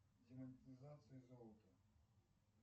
демонетизация золота